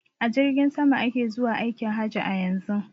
A jirgin sama ake zuwa aikin haji a yanzun.